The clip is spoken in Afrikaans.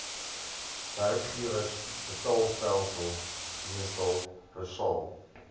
werkgewersbetaalstelsel meestal persal